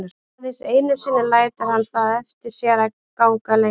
Aðeins einu sinni lætur hann það eftir sér að ganga lengra.